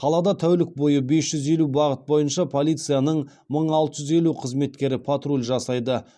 қалада тәулік бойы бес жүз елу бағыт бойынша полицияның мың алты жүз елу қызметкері патруль жасайды